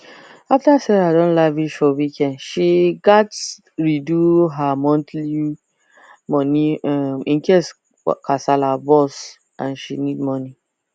after sarah don lavish for weekend she gat re do her monthlu money um incase kasala burst and she need money